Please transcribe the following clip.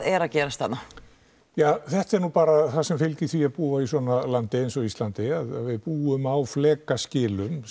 er að gerast þarna jah þetta er nú bara það sem fylgir því að búa í svona landi eins og Íslandi við búum á flekaskilum